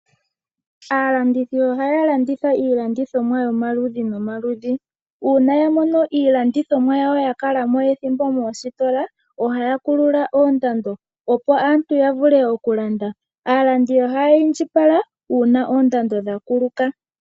Aalandithi ohaya landitha iilandithomwa yomaludhi nomaludhi. Uuna ya mono iilandithomwa yawo ya kala mo ethimbo moositola, ohaya kulula oondando, opo aantu ya vule okulanda. Aalandi ohaya indjipala uuna oondando dha kuluka.